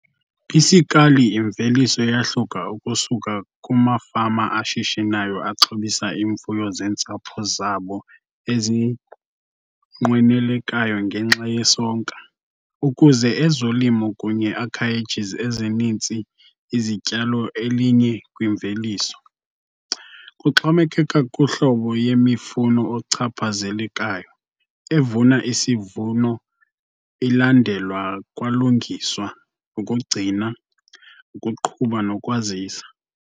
Isikali imveliso yahluka ukusuka kumafama ashishinayo axhobisa iimfuno zentsapho zabo ezinqwenelekayo ngenxa yesonka, ukuze ezolimo kunye acreages ezininzi izityalo elinye-kwimveliso. Kuxhomekeka kuhlobo yemifuno ochaphazelekayo, evuna isivuno ilandelwa kwalungiswa, ukugcina, ukuqhuba nokwazisa.